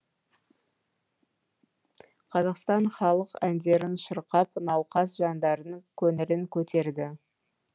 қазақтың халық әндерін шырқап науқас жандардың көңілін көтерді